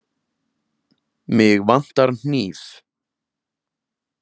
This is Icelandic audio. Mig vantar hníf.